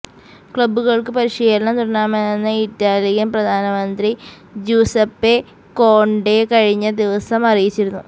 ക്ലബ്ബുകള്ക്ക് പരിശീലനം തുടരാമെന്ന ഇറ്റാലിയന് പ്രധാനമന്ത്രി ജ്യൂസപ്പേ കോണ്ടേ കഴിഞ്ഞ ദിവസം അറിയിച്ചിരുന്നു